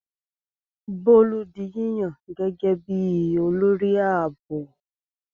Bólú di yíyàn gẹ́gẹ́ bí i olórí ààbò.